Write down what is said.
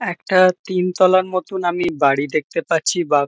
একটা তিন তলার মতোন আমি বাড়ি দেখতে পাচ্ছি বা --